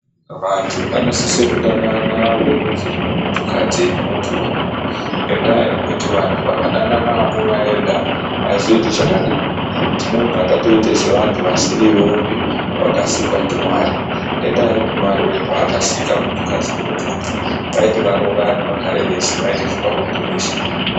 Vantu vanosise kudanana verudzi rwemuntukadzi nemunturume. Ngendaa yekuti vantu vakadanana vamuna vega azvizoiti zvakanaka. Tinobva tatoita sevantu vasirivopi vakasikwa ndiMwari, ngendaa yekuti Marure paakasika muntukadzi nemunturume waiti varoorane vagare veshe vaite zvepabonde veshe.